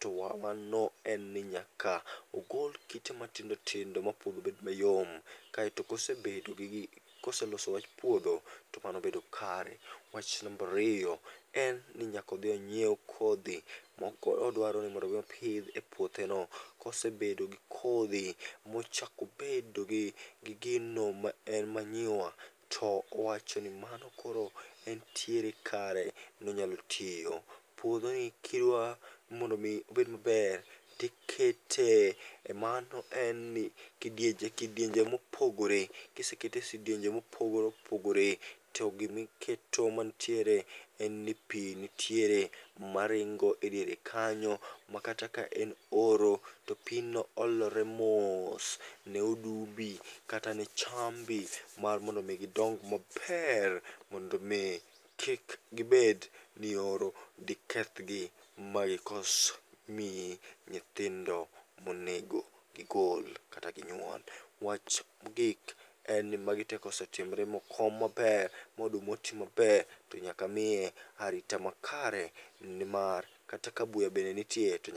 to wa wano en ni nyaka ogol kite matindotindo ma puodho bed mayom, kaeto kosebedo gi koseloso wach puodho to mano bedo kare. Wach nambariyo en ni nyakodhi onyiew kodhi, modwaro ni mondo mi opidh e puothe no. Kosebedo gi kodhi, mochako bedo gi gino ma en manyiwa, to owacho ni mano koro entiere kare monyalo tiyo. Puodho ni kidwa mondomi obed maber tikete e mano en ni kidienje kidienje mopogore. Kisekete e sidienje mopogore opogore, to gimiketo mantiere en ni pi nitiere maringo e diere kanyo. Ma kata ka en oro, to pino olore mos ne odumbi, kata ne chambi, mar mondo mi gidong maber mondo mi kik gibed ni oro dekethgi magikos miyi nyithindo monego gigol kata ginyuol. Wach mogik en ni magi te kosetimre mokom maner, modumoti maber to nyaka miye arita makare. Ni mar kata ka buya bende nitie to nyak.